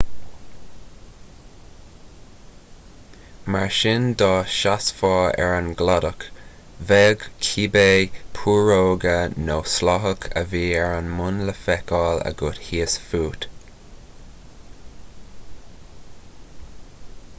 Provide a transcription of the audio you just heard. mar sin dá seasfá ar an gcladach bheadh cibé púróga nó sláthach a bhí ar an mbun le feiceáil agat thíos fút